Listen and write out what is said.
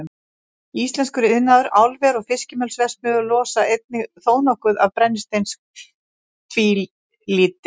Íslenskur iðnaður, álver og fiskimjölsverksmiðjur losa einnig þónokkuð af brennisteinstvíildi.